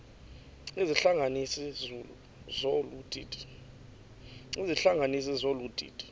izihlanganisi zolu didi